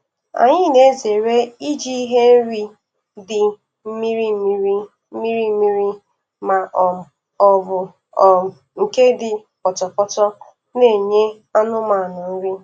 Anyị na-ezere iji ihe nri dị mmiri mmiri mmiri mmiri ma um ọ bụ um nke dị pọtọpọtọ na-enye anụmanụ nri.